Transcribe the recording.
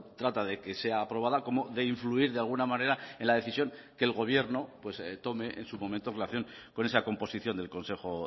trata de que sea aprobada como de influir de alguna manera en la decisión que el gobierno pues tome en su momento en relación con esa composición del consejo